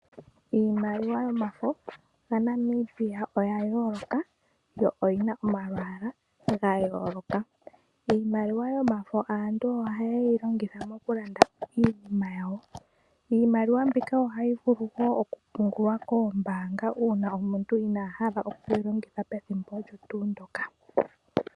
Iimaliwa yomafo yaNamibia oyayooloka yo oyina omalwaala gayooloka. Iimaliwa yomafo aantu ohayeyi longitha mokulanda iinima yawo. Iimaliwa mbika ohayi vulu wo okupungulwa koombaanga uuna omuntu inahala okuyilongitha pethimbo olyo tuundoka.